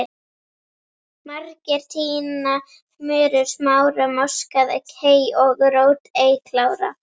Margir tína murur, smára, moskað hey og rót ei klára